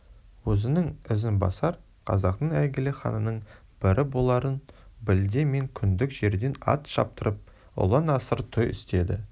өзінің ізін басар қазақтың әйгілі ханының бірі боларын білді ме күндік жерден ат шаптырып ұлан-асыр той істеді